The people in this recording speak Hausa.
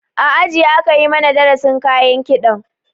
A aji aka mana darasin kayan kiɗan